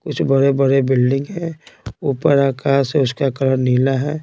कुछ बड़े-बड़े बिल्डिंग है ऊपर आकाश है उसका कलर नीला है।